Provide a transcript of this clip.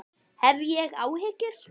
Hef ég áhyggjur?